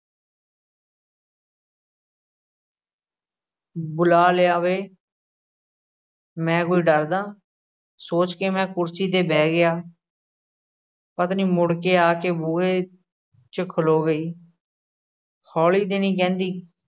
ਬੁਲਾ ਲਿਆਵੇ ਮੈਂ ਕੋਈ ਡਰਦਾਂ, ਸੋਚ ਕੇ ਮੈਂ ਕੁਰਸੀ 'ਤੇ ਬਹਿ ਗਿਆ ਪਤਨੀ ਮੁੜ ਕੇ ਆ ਕੇ ਬੂਹੇ 'ਚ ਖਲੋ ਗਈ ਹੌਲ਼ੀ ਦੇਣੀ ਕਹਿੰਦੀ,